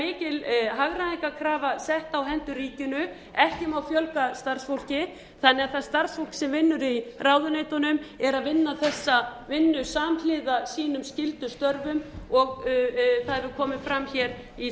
er mikil hagræðingarkrafa sett á hendur ríkinu ekki má fjölga starfsfólki þannig að það starfsfólk sem vinnur í ráðuneytunum er að vinna þessa vinnu samhliða sínum skyldustörfum og það hefur komið fram hér í